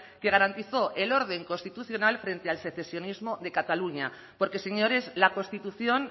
que garantizó el orden constitucional frente al secesionismo de cataluña porque señores la constitución